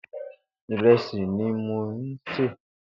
Ìrẹsi ni mó n sé